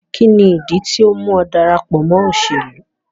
Kini idi tio mu ọ darapọ mọ iṣelu?